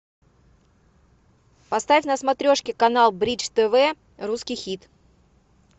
поставь на смотрешке канал бридж тв русский хит